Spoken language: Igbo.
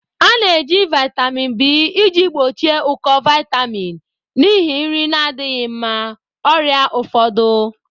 A na-eji vitamin B iji gbochie ụkọ vitamin n'ihi nri na-adịghị mma, ọrịa ụfọdụ.